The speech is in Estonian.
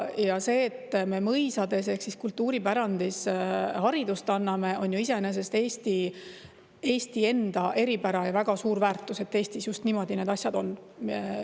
Ja see, et me mõisates, mis kultuuripärandi hulka, haridust anname, on ju iseenesest Eesti eripära ja väga suur väärtus, et Eestis just niimoodi need asjad on.